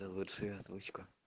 заверши озвучку